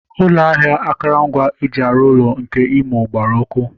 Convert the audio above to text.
Ụlọ ahịa akụrụngwa eji arụ ụlọ nke Imo gbara ọkụ